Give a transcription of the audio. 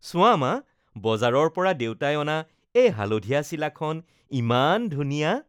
চোৱা মা। বজাৰৰ পৰা দেউতাই অনা এই হালধীয়া চিলাখন ইমান ধুনীয়া